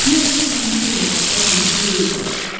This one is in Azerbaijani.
Güya ki, ikinci bir məhəbbət mümkün deyilmiş.